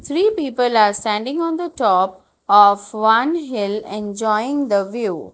Three people are standing on the top of one hill enjoying the view.